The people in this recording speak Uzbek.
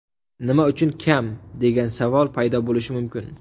Nima uchun kam, degan savol paydo bo‘lishi mumkin.